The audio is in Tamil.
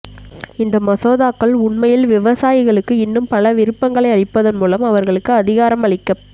இந்த மசோதாக்கள் உண்மையில் விவசாயிகளுக்கு இன்னும் பல விருப்பங்களை அளிப்பதன் மூலம் அவர்களுக்கு அதிகாரம் அளிக்கப்